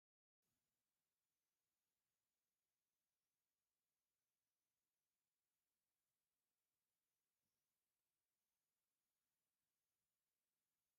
እዚ ጻዕዳ ክዳን ተኸዲኖም ብቐይሕ መንገዲ ዝጓዓዙ ብዙሓት መራሕቲ እቲ ከባቢን ኣቦታት ቤተክርስትያንን ዘርኢ እዩ። ኣብ ላዕሊ ድሙቕ ሕብሪ ዘለዎም መትሓዝታት